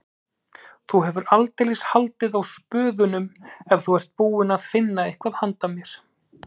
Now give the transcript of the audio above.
Þú hefur aldeilis haldið á spöðunum ef þú ert búinn að finna eitthvað handa mér